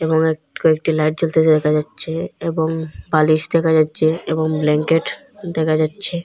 এবং এক কয়েকটি লাইট জ্বলতে দেখা যাচ্ছে এবং বালিশ দেখা যাচ্ছে এবং ব্ল্যাঙ্কেট দেখা যাচ্ছে।